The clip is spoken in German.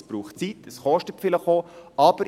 Es braucht Zeit, es kostet vielleicht auch.